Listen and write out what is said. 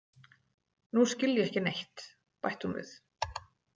Nú skil ég ekki neitt, bætti hún við.